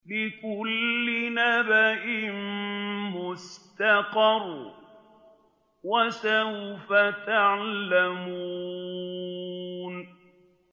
لِّكُلِّ نَبَإٍ مُّسْتَقَرٌّ ۚ وَسَوْفَ تَعْلَمُونَ